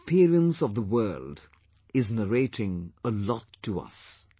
The experience of the world is narrating a lot to us